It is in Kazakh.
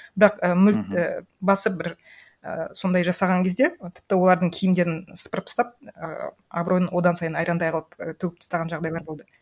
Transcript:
бірақ і і басып бір і сондай жасаған кезде тіпті олардың киімдерін сыпырып тастап ііі абыройын одан сайын айрандай қылып і төгіп тастаған жағдайлар болды